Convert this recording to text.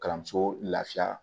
Kalanso lafiya